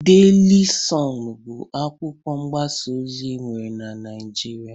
Deli sọn bụ akwụkwọ mgbasa ozi enwere n'Naijịrịa.